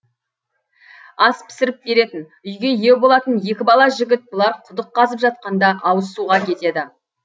ас пісіріп беретін үйге ие болатын екі бала жігіт бұлар құдық қазып жатқанда ауыз суға кетеді